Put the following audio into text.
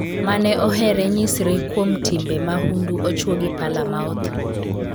mane ohere nyisre kuom timbe mahundu ochwo gi pala ma otho